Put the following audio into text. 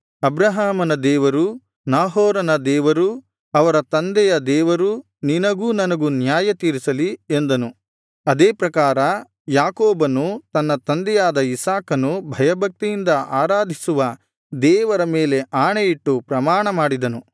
ಅಬ್ರಹಾಮನ ದೇವರು ನಾಹೋರನ ದೇವರು ಅವರ ತಂದೆಯ ದೇವರು ನಿನಗೂ ನನಗೂ ನ್ಯಾಯತೀರಿಸಲಿ ಎಂದನು ಅದೇ ಪ್ರಕಾರ ಯಾಕೋಬನು ತನ್ನ ತಂದೆಯಾದ ಇಸಾಕನು ಭಯಭಕ್ತಿಯಿಂದ ಆರಾಧಿಸುವ ದೇವರ ಮೇಲೆ ಆಣೆಯಿಟ್ಟು ಪ್ರಮಾಣ ಮಾಡಿದನು